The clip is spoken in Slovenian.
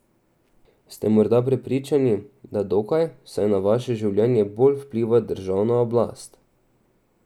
Ste morda prepričani, da dokaj, saj na vaše življenje bolj vpliva državna oblast?